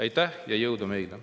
Aitäh ja jõudu meile!